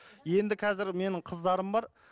енді қазір менің қыздарым бар